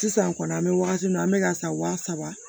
Sisan kɔni an bɛ wagati min na an bɛ ka san saba